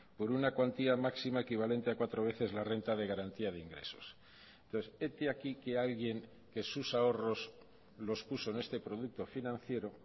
por una cuantía máxima equivalente a cuatro veces la renta de garantía de ingresos entonces hete aquí que alguien que sus ahorros los puso en este producto financiero